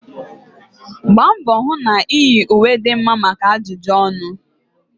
Gbaa mbọ hụ na iyi ùwé dị mma maka ajụjụ ọnụ